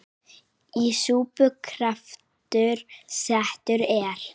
Í súpu kraftur settur er.